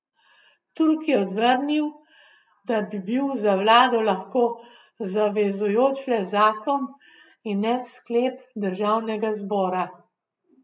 Turk je odvrnil, da bi bil za vlado lahko zavezujoč le zakon in ne sklep državnega zbora.